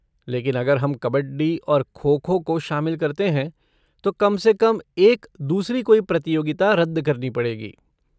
लेकिन अगर हम कबड्डी और खो खो को शामिल करते हैं तो कम से कम एक दूसरी कोई प्रतियोगिता रद्द करनी पड़ेगी।